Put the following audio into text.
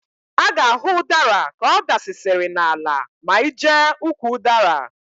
A ga-ahụ ụdara ka ọ dasịsịrị n'ala ma ị jee ukwu ụdara.